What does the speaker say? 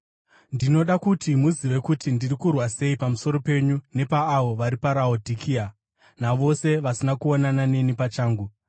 Ndinoda kuti muzive kuti ndiri kurwa sei pamusoro penyu nepaavo vari paRaodhikea, navose vasina kuonana neni pachangu.